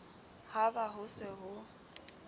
ha be ho se ho